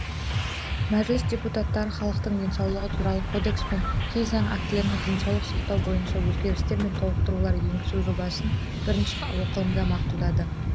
мәжіліс депутаттары халықтың денсаулығы туралы кодекс пен кей заң актілеріне денсаулық сақтау бойынша өзгерістер мен толықтырулар енгізу жобасын бірінші оқылымда мақұлдады